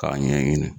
K'a ɲɛɲini